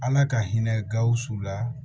Ala ka hinɛ gawusu la